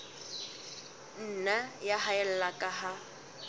nna ya haella ka ha